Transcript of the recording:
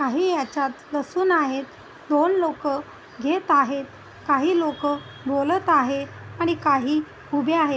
काही याच्यात लसुन आहे दोन लोकं घेत आहेत काही लोकं बोलत आहे आणि काही उभे आहेत.